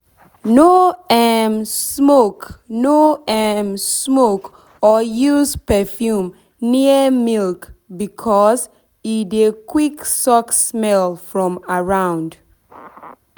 no um smoke no um smoke or use perfume near milk because e dey quick suck smell from around.